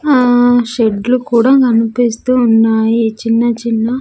ఆ షెడ్లు కూడా కనిపిస్తూ ఉన్నాయి చిన్న చిన్న.